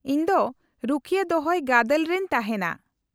-ᱤᱧ ᱫᱚ ᱨᱩᱠᱷᱤᱭᱟᱹ ᱫᱚᱦᱚᱭ ᱜᱟᱫᱮᱞ ᱨᱮᱧ ᱛᱟᱦᱮᱸᱱᱟ ᱾